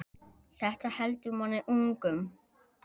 Þetta heldur manni ungum.